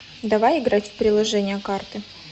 давай играть в приложение карты